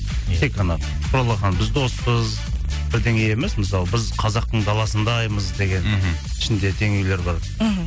тек қана құралақан біз доспыз бірдеңе емес мысалы біз қазақтың даласындаймыз деген мхм ішінде теңеулер бар мхм